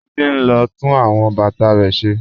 Títí n lọ tún awọn bátà rẹ̀ ṣẹ́.